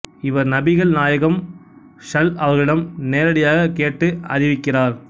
இவர் நபிகள் நாயகம் ஸல் அவர்களிடம் நேரடியாகக் கேட்டு அறிவிக்கிறார்